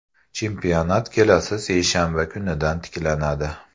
Chempionat kelasi seshanba kunidan tiklanadi.